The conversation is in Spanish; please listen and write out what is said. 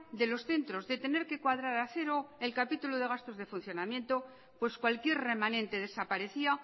de los centros de tener que cuadrar a cero el capítulo de gastos de funcionamiento pues cualquier remanente desaparecía